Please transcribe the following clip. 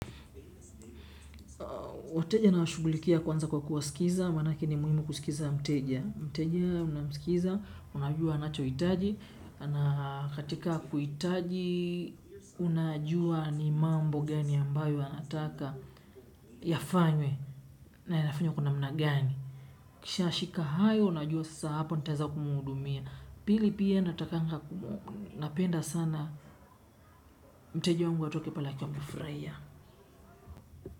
Wateja nawashughulikia kwanza kwa kuwasikiza, manake ni muhimu kusikiza mteja. Mteja unamsikiza, unajua anachohitaji, na katika kuhitaji unajua ni mambo gani ambayo anataka, yafanywe na inafanywa kwa namna gani. Uishashika hayo unajua sasa hapa nitaeza kumhudumia. Pili pia natakanga napenda sana mteja wangu atoke pale akiwa amefurahia.